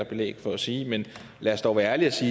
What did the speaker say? belæg for at sige men lad os dog være ærlige